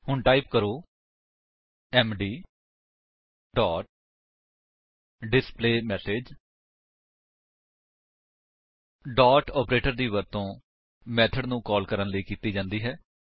ਹੁਣ ਟਾਈਪ ਕਰੋ MD dot display message dot operator ਦੀ ਵਰਤੋ ਮੇਥਡ ਨੂੰ ਕਾਲ ਕਰਨ ਲਈ ਕੀਤੀ ਜਾਂਦੀ ਹੈ